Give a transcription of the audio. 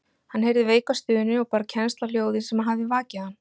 Hann heyrði veika stunu og bar kennsl á hljóðið sem hafði vakið hann.